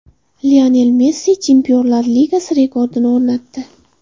Lionel Messi Chempionlar Ligasi rekordini o‘rnatdi.